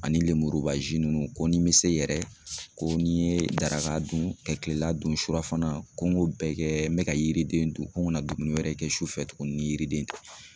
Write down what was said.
Ani lemurubazi ninnu ko ni bɛ se yɛrɛ, ko n'i ye daraka dun ka kilela dun ,suɔ fana ko n ko bɛɛ kɛ n bɛ ka yiriden dun, ko n kana dumuni wɛrɛ kɛ sufɛ tuguni ni yiriden tɛ.